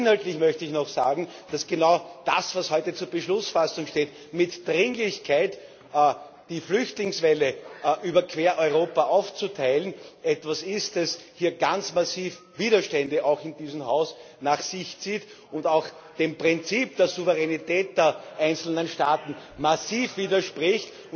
Und inhaltlich möchte ich noch sagen, dass genau das, was heute zur Beschlussfassung steht, mit Dringlichkeit die Flüchtlingswelle quer über Europa aufzuteilen, etwas ist, das ganz massiv Widerstände auch in diesem Haus nach sich zieht und auch dem Prinzip der Souveränität der einzelnen Staaten massiv widerspricht.